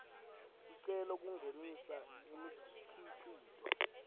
sicelo kungenisa imikhicito